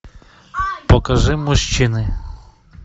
покажи мужчины